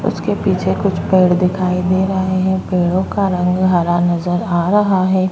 उसके पीछे कुछ पेड़ दिखाई दे रहे हैं पेड़ों का रंग हरा नजर आ रहा है।